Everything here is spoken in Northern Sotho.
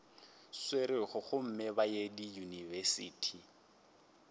swerego gomme ba ye diyunibesithi